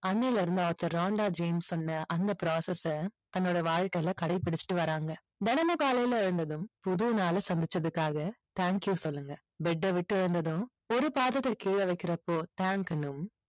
அன்னையிலிருந்து author Rhonda James சொன்ன அந்த process அ தன்னோட வாழ்க்கையில கடைபிடிச்சிட்டு வர்றாங்க. தினமும் காலையில் எழுந்ததும் புது நாளை சந்திச்சதுக்காக thank you சொல்லுங்க. bed அ விட்டு எழுந்ததும் ஒரு பாதத்தை கீழே வைக்கிறப்போ thank னும்